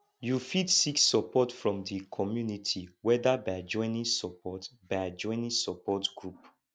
you fit seek support from di community whether by joining support by joining support group